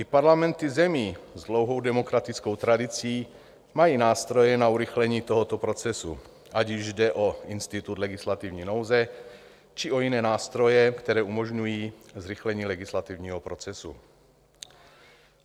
I parlamenty zemí s dlouhou demokratickou tradicí mají nástroje na urychlení tohoto procesu, ať již jde o institut legislativní nouze, či o jiné nástroje, které umožňují zrychlení legislativního procesu.